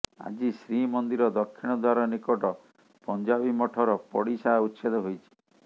ଆଜି ଶ୍ରୀମନ୍ଦିର ଦକ୍ଷିଣ ଦ୍ବାର ନିକଟ ପଞ୍ଜାବି ମଠର ପଡିସା ଉଚ୍ଛେଦ ହୋଇଛି